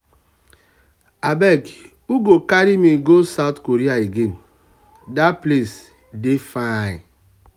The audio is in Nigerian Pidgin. abeg who um go carry me go south korea again? dat place dey fine. um